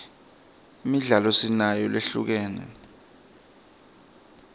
imidlalo sinayo lehlukene